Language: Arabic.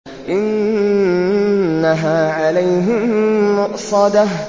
إِنَّهَا عَلَيْهِم مُّؤْصَدَةٌ